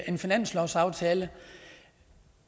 en finanslovsaftale